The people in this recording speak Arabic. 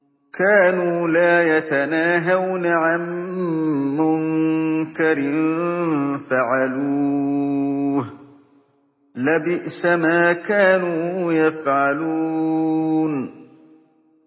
كَانُوا لَا يَتَنَاهَوْنَ عَن مُّنكَرٍ فَعَلُوهُ ۚ لَبِئْسَ مَا كَانُوا يَفْعَلُونَ